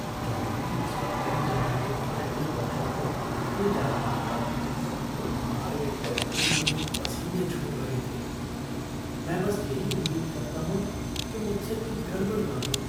Driving instructor जब मेरे driving कौशल को परखने जा रहा था तो मारे डर के मेरे पसीने छूट रहे थे। मैं बस यही उम्मीद करता हूँ कि मुझसे कोई गड़बड़ न हो।